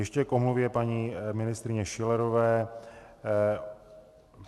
Ještě k omluvě paní ministryně Schillerové.